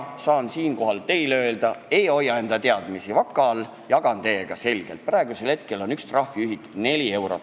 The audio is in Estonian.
Saan siinkohal teile öelda – ma ei hoia enda teadmisi vaka all, vaid jagan neid teiega –, et praegu on üks trahviühik 4 eurot.